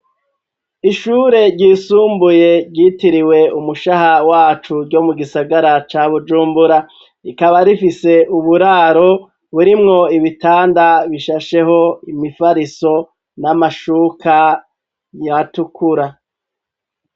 Ishure ryisumbuye, ryitiriwe umushaha wacu, ryo mu gisagara ca bujumbura, rikaba rifise uburaro burimwo ibitanda bishasheho, imifariso n'amashuka atukura.